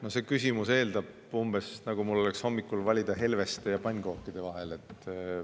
No see küsimus eeldab umbes seda, nagu mul oleks hommikul valida helveste ja pannkookide vahel.